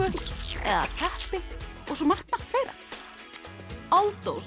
eða teppi og margt margt fleira